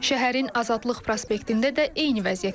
Şəhərin Azadlıq prospektində də eyni vəziyyət yaşanır.